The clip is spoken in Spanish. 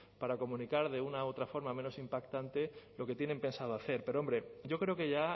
para comunicar de una u otra forma menos impactante lo que tienen pensado hacer pero hombre yo creo que ya